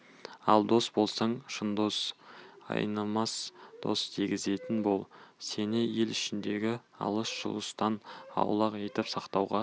ал дос болсаң шын дос айнымас дос дегізетін бол сені ел ішіндегі алыс-жұлыстан аулақ етіп сақтауға